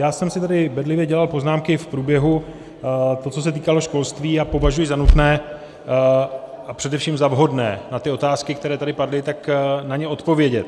Já jsem si tady bedlivě dělal poznámky v průběhu toho, co se týkalo školství, a považuji za nutné a především za vhodné na ty otázky, které tady padly, tak na ně odpovědět.